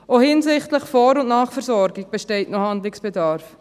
Auch hinsichtlich Vor- und Nachversorgung besteht noch Handlungsbedarf.